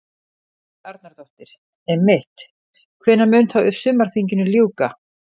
Helga Arnardóttir: Einmitt, hvenær mun þá sumarþinginu ljúka?